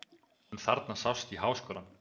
En þarna sást í Háskólann.